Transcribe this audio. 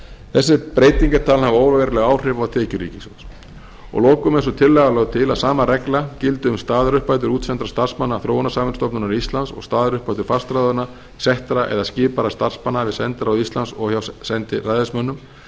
þessi breyting er talin hafa óveruleg áhrif á tekjur ríkissjóðs að lokum er sú tillaga lögð til að sama regla gildi um staðaruppbætur útsendra starfsmanna þróunarsamvinnustofnunar íslands og staðaruppbætur fastráðinna settra eða skipaðra starfsmanna við sendiráð íslands og hjá sendiræðismönnum það er